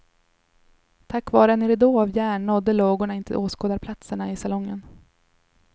Tack vare en ridå av järn nådde lågorna inte åskådarplatserna i salongen.